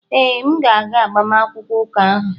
Ee, m ga-aga agbamakwụkwọ ụka ahụ